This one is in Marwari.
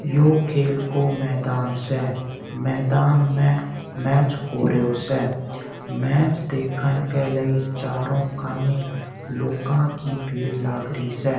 यो खेल को मैदान से मैदान में मैच हो रैयो से मैच देखन के लाई चारो कानी लोका की भीड़ लागरी स।